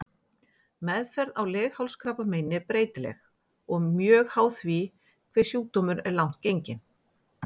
Meðferð á leghálskrabbameini er breytileg og mjög háð því hve sjúkdómurinn er langt genginn.